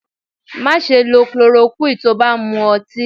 Má ṣe lọ clorokúì tí ó bá ń mú ọtí.